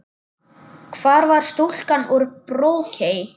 Hvar var stúlkan úr Brokey?